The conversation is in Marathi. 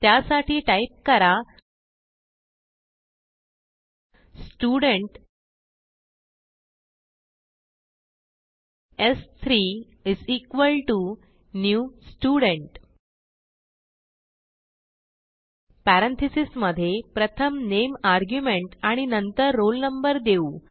त्यासाठी टाईप करा student s3 new Student parentheses मधे प्रथम नामे आर्ग्युमेंट आणि नंतर रोल नंबर देऊ